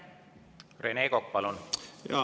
Rene Kokk, palun!